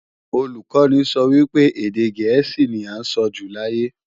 Olùkọ́ni sọ wípé, èdè gẹ̀ẹ́sì ní à ń sọjù láyé